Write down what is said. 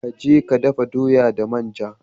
Ka je ka dafa doya da manja.